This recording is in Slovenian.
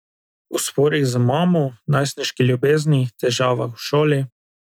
O sporih z mamo, najstniški ljubezni, težavah v šoli ...